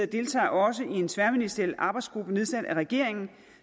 deltager også i en tværministeriel arbejdsgruppe nedsat af regeringen